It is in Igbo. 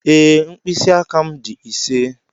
Ee, mkpịsị aka m dị ise.